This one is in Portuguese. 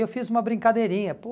E eu fiz uma brincadeirinha, pô...